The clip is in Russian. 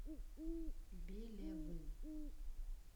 белевым